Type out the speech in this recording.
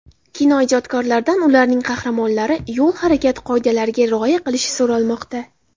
Kinoijodkorlardan ularning qahramonlari yo‘l harakati qoidalariga rioya qilishi so‘ralmoqda.